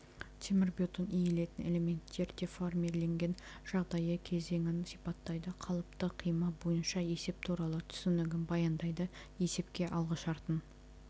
темірбетон иілетін элементтер деформирленген жағдайы кезеңін сипаттайды қалыпты қима бойынша есеп туралы түсінігін баяндайды есепке алғышартын